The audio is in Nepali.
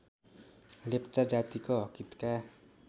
लेप्चा जातिको हकहितका